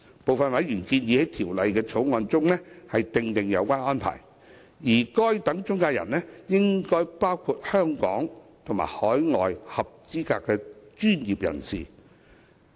部分委員建議在《條例草案》中訂定有關安排，而該等中介人應包括香港及海外合資格專業人士。